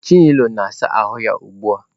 Chinelo na-asa ahụ ya ugbu a.